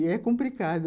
E é complicado.